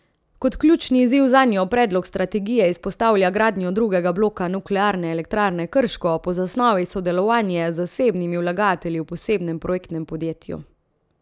Kot ključni izziv zanjo predlog strategije izpostavlja gradnjo drugega bloka Nuklearne elektrarne Krško, po zasnovi sodelovanje z zasebnimi vlagatelji v posebnem projektnem podjetju.